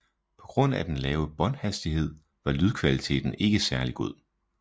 På grund af den lave båndhastighed var lydkvaliteten ikke særlig god